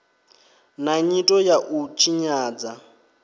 na nyito ya u tshinyadza